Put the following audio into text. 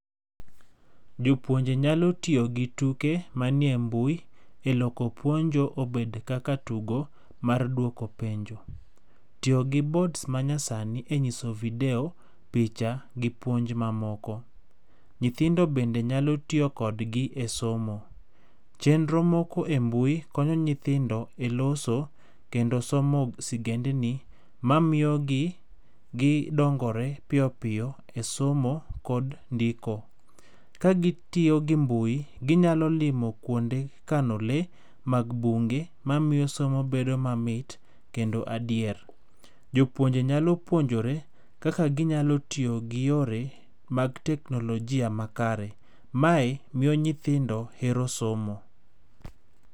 Jopuonje nyalo tiyo gi tuke manie mbui e loko puonjo obed kaka tugo mar duoko penjo. Tiyo gi boards manyasani e nyiso video, picha gi puonj mamoko. Nyithindo bende nyalo tiyo kodgi e somo. Chenro moko e mbui konyo nyithindo e loso kendo somo sigendni, mamiyogi gidongore piyopiyo e somo kod ndiko. Kagitiyo gi mbui, ginyalo limo kuonde kano lee mag bunge mamiyo somo bedo mamit kendo adier. Jopuonje nyalo puonjore kaka ginyalo tiyo gi yore mag teknolojia makare. Mae miyo nyithindo hero somo.